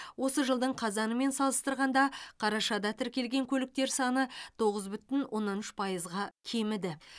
осы жылдың қазанымен салыстырғанда қарашада тіркелген көліктер саны тоғыз бүтін оннан үш пайызға кеміді